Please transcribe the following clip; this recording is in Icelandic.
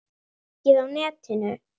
Hann hékk mikið á netinu.